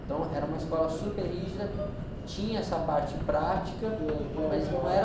Então, era uma escola super rígida, tinha essa parte prática, mas não era...